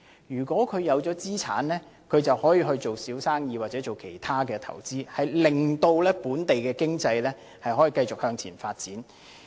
如果他們擁有資產，便可以做小生意或其他投資，令本地經濟可以繼續向前發展。